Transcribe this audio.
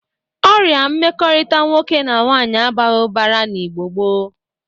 Ọrịa mmekọrịta nwoke na nwaanyị abaghị ụbara na Igbo gboo.